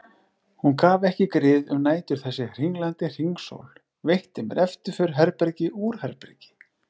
Hún gaf ekki grið um nætur þessi hringlandi hringsól, veitti mér eftirför herbergi úr herbergi.